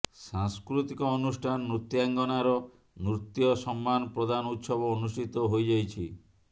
ସାଂସ୍କୃତିକ ଅନୁଷ୍ଠାନ ନୃତ୍ୟାଙ୍ଗନାର ନୃତ୍ୟ ସମ୍ମାନ ପ୍ରଦାନ ଉତ୍ସବ ଅନୁଷ୍ଠିତ ହୋଇଯାଇଛି